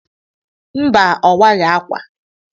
Mba, owaghi ákwà.